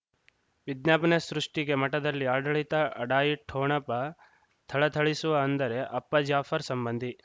ವಿಜ್ಞಾಪನೆ ಸೃಷ್ಟಿಗೆ ಮಠದಲ್ಲಿ ಆಡಳಿತ ಅಢಾಯಿ ಠೊಣಪ ಥಳಥಳಿಸುವ ಅಂದರೆ ಅಪ್ಪ ಜಾಫರ್ ಸಂಬಂಧಿ